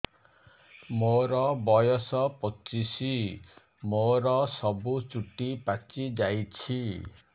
ମୋର ବୟସ ପଚିଶି ମୋର ସବୁ ଚୁଟି ପାଚି ଯାଇଛି